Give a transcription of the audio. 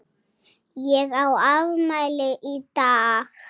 Ég á afmæli í dag.